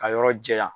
Ka yɔrɔ jɛya